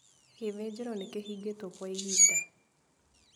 Gĩthĩnjĩro nĩkĩhingĩtwo kwa ihinda.